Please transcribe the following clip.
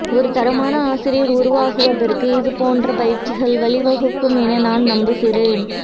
ஒரு தரமான ஆசிரியர் உருவாகுவதற்கு இதுபோன்ற பயிற்சிகள் வழிவகுக்கும் என நான் நம்புகிறேன்